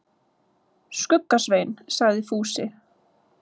Skugga-Svein, sagði Fúsi.